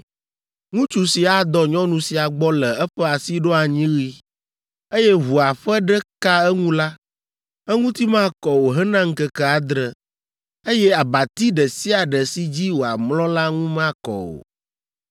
“ ‘Ŋutsu si adɔ nyɔnu sia gbɔ le eƒe asiɖoanyiɣi, eye ʋua ƒe ɖe ka eŋu la, eŋuti makɔ o hena ŋkeke adre, eye abati ɖe sia ɖe si dzi wòamlɔ la ŋu makɔ o.